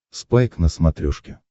спайк на смотрешке